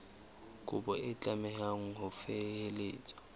kopo e tlameha ho felehetswa